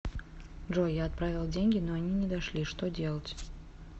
джой я отправила деньги но они не дошли что делать